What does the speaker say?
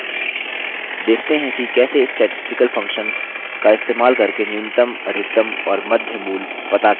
देखते हैं कि कैसे statistical functions का इस्तेमाल करके न्यूनतम अधिकतम और मध्य मूल पता करते हैं